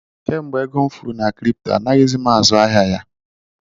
Kemgbe ego m furu na kripto, anaghịzi m azụ ahịa ya